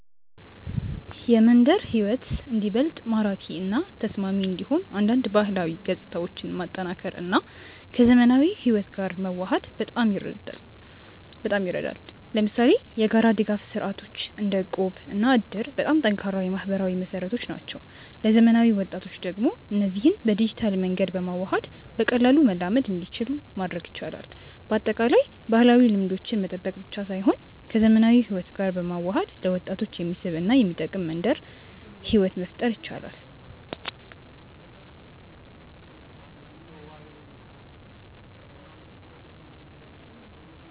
የመንደር ሕይወት እንዲበልጥ ማራኪ እና ተስማሚ እንዲሆን አንዳንድ ባህላዊ ገጽታዎችን ማጠናከር እና ከዘመናዊ ሕይወት ጋር መዋሃድ በጣም ይረዳል። ለምሳሌ የጋራ ድጋፍ ስርዓቶች እንደ እቁብ እና እድር በጣም ጠንካራ የማህበራዊ መሰረቶች ናቸው። ለዘመናዊ ወጣቶች ደግሞ እነዚህን በዲጂታል መንገድ በማዋሃድ በቀላሉ መላመድ እንዲችሉ ማድረግ ይቻላል። በአጠቃላይ፣ ባህላዊ ልምዶችን መጠበቅ ብቻ ሳይሆን ከዘመናዊ ሕይወት ጋር በመዋሃድ ለወጣቶች የሚስብ እና የሚጠቅም መንደር ሕይወት መፍጠር ይቻላል።